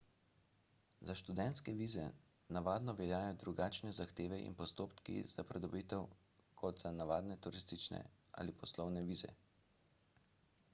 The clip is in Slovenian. za študentske vize navadno veljajo drugačne zahteve in postopki za pridobitev kot za navadne turistične ali poslovne vize